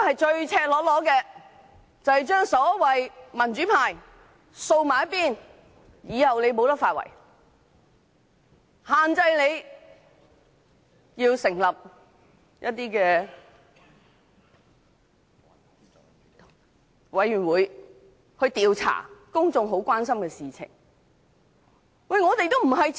這是赤裸裸地把民主派掃在一旁，令他們以後無法"發圍"，限制他們成立甚麼委員會調查公眾所關心的事。